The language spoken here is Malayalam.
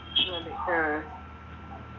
മതി ഉം